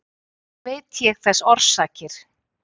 Eigi veit ég þess orsakir.